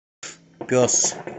пес